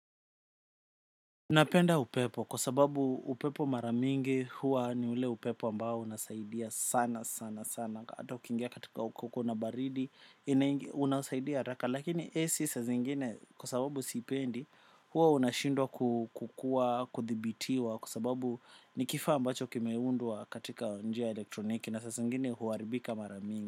Napenda upepo kwa sababu upepo mara mingi huwa ni ule upepo ambao unasaidia sana sana. Hata ukiingia katika kona baridi unasaidia haraka. Lakini 'AC' saa zingine kwa sababu sipendi huwa unashindwa kukua kuthibitiwa kwa sababu nikifaa ambacho kimeundwa katika njia ya elektroniki. Na sasa zingine huaribika mara mingi.